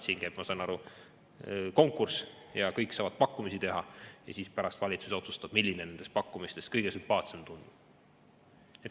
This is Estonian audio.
Siin käib, ma saan aru, konkurss ja kõik saavad pakkumisi teha ja siis pärast valitsus otsustab, milline nendest pakkumistest kõige sümpaatsem tundub.